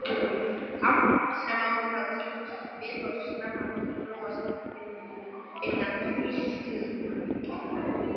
Samt sem áður hafi slík viðhorf snemma þróast innan kirkjunnar.